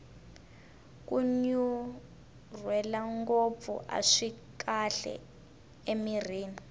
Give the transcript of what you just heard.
kunyunrwela ngopfu aswi kahle emirhini